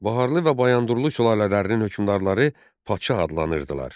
Baharlu və Bayandurlu sülalələrinin hökmdarları padşah adlanırdılar.